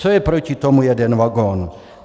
Co je proti tomu jeden vagon?